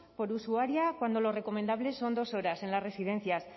por usuaria cuando lo recomendable son dos horas en las residencias